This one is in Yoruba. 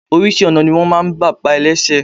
Oríṣi ọ̀nà ni wọn máa ń gbà pa ẹlẹ́sẹ̀.